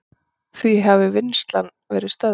Því hafi vinnslan verið stöðvuð.